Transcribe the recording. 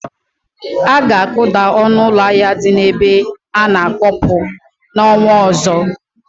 Aga akuda ọnụ ụlọ ahịa dị n'ebe ana-akwọpụ n'ọnwa ọzọ.